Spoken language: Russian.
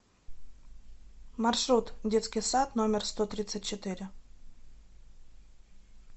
маршрут детский сад номер сто тридцать четыре